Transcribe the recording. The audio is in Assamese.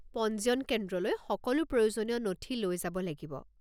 পঞ্জীয়ন কেন্দ্রলৈ সকলো প্রয়োজনীয় নথি লৈ যাব লাগিব।